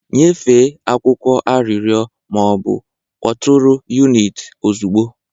Nyefee akwụkwọ arịrịọ ma ọ bụ kpọtụrụ unit ozugbo.